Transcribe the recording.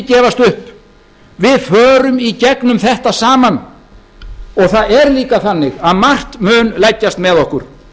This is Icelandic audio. gefast upp við förum í gegnum þetta saman og það er líka þannig að margt mun leggjast með okkur